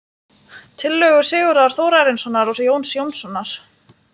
Tillögur Sigurðar Þórarinssonar og Jóns Jónssonar